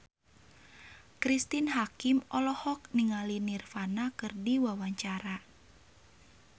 Cristine Hakim olohok ningali Nirvana keur diwawancara